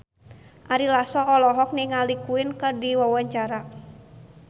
Ari Lasso olohok ningali Queen keur diwawancara